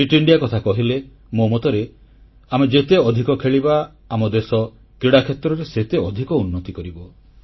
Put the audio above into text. fit India କଥା କହିଲେ ମୋ ମତରେ ଆମେ ଯେତେ ଅଧିକ ଖେଳିବା ଆମ ଦେଶ କ୍ରୀଡ଼ା କ୍ଷେତ୍ରରେ ସେତେ ଅଧିକ ଉନ୍ନତି କରିବ